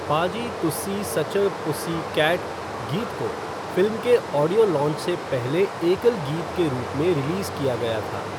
पाजी तुस्सी such a pussycat गीत को फ़िल्म के ऑडियो लॉन्च से पहले एकल गीत के रूप में रिलीज़ किया गया था।